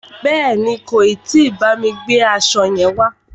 Bèéni, kò tí bámi gbe aṣo yẹn wá.